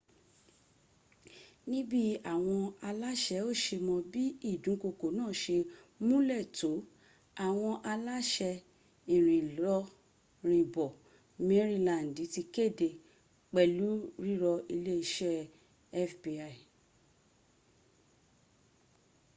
níbí àwọn aláṣẹ́ ò se mọ̀ bí ìdúnkokò náà se múnlẹ̀ tó àwọn aláṣẹ ìrìnlọrìnbọ̀ mérìlandì ti kéde pẹ̀lu rírọ iléeṣẹ́ fbi